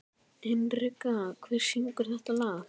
Hinrikka, hver syngur þetta lag?